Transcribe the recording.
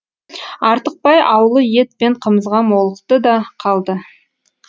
артықбай аулы ет пен қымызға молықты да қалды